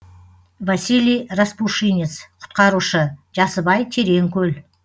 василий распушинец құтқарушы жасыбай терең көл